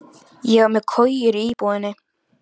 Ég var með kojur í íbúðinni.